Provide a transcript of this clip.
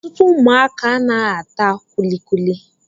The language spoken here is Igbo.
Ọtụtụ ụmụaka anaghị ata kulikuli